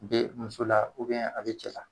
Be muso la a be cɛ.